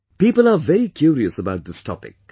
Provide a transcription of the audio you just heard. People are very curious about this topic